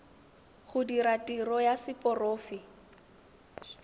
go dira tiro ya seporofe